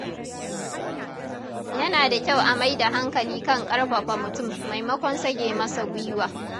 Yana da kyau a mai da hankali kan ƙarfafa mutum maimakon sage masa gwiwa.